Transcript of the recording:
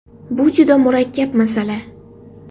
Bu juda murakkab masala.